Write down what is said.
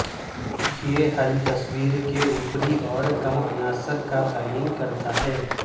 یہ حل تصویر کے اوپری اور کم عناصر کا تعین کرتا ہے